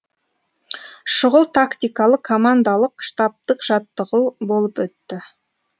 шұғыл тактикалы командалық штабтық жаттығу болып өтті